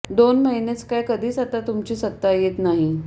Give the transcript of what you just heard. दोन महिनेच काय कधीच आता तुमची सत्ता येत नाही